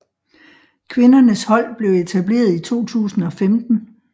Kvindernes hold blev etableret i 2015